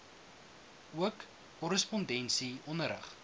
ook korrespondensie onderrig